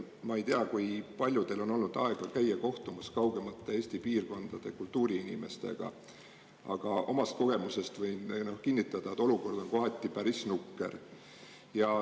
Ma ei tea, kui paljudel on olnud aega käia kohtumas kaugemate Eesti piirkondade kultuuriinimestega, aga omast kogemusest võin kinnitada, et olukord on kohati päris nukker.